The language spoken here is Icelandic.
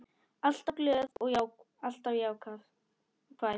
Alltaf glöð og alltaf jákvæð.